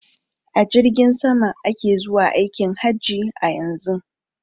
A jirgin sama ake zuwa aikin haji a yanzun.